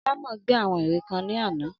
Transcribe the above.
Alámò gbé àwọn ère kan ní àná